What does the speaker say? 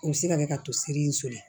O bɛ se ka kɛ ka to seri in seli